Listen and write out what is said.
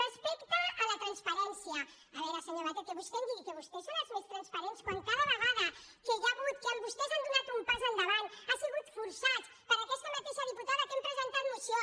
respecte a la transparència a veure senyor batet que vostè em digui que vostès són els més transparents quan cada vegada que hi ha hagut que vostès han do·nat un pas endavant ha sigut forçats per aquesta ma·teixa diputada que hem presentat moció